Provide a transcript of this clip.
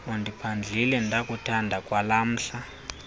undiphandlile ndakuthanda kwangalamhla